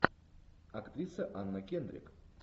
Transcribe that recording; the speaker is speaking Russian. актриса анна кендрик